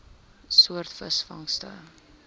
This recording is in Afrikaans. soort visvangste